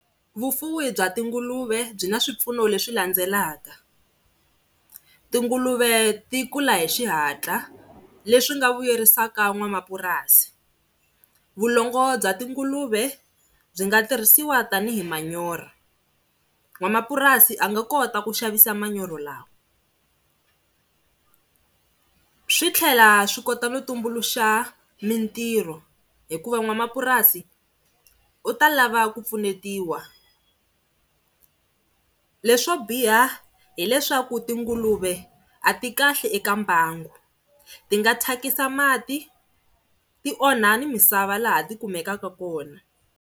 Vufuwi bya tinguluve byi na swipfuno leswi landzelaka, tinguluve ti kula hi xihatla leswi nga vuyerisaka n'wamapurasi, vulongo bya tinguluve byi nga tirhisiwa tanihi manyorha n'wamapurasi a nga kota ku xavisa manyoro lawa. Swi tlhela swi kota no tumbuluxa mintirho hikuva n'wamapurasi u ta lava ku pfunetiwa. Leswo biha hileswaku tinguluve a ti kahle eka mbangu ti nga thyakisa mati ti onha ni misava laha ti kumekaka kona.